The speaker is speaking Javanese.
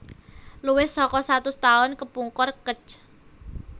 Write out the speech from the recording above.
Luwih saka satus taun kepungkur Kec